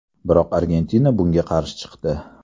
Biroq Argentina bunga qarshi chiqdi.